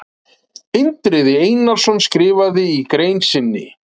Indriði Einarsson skrifaði í grein sinni: